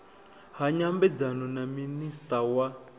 ha nyambedzano na minista wa